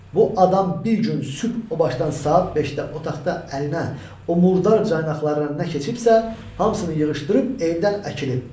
Bu adam bir gün sübh o başdan saat 5-də otaqda əlinə o murdar caynaqları ilə nə keçibsə, hamısını yığışdırıb evdən əkilib.